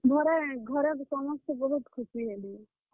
ଘରେ, ଘରେ ସମସ୍ତେ ବହୁତ୍ ଖୁସି ହେଲେ।